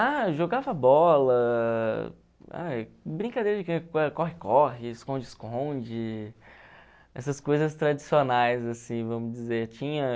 Ah, jogava bola, ai brincadeira de corre-corre, esconde-esconde, essas coisas tradicionais, assim, vamos dizer. Tinha...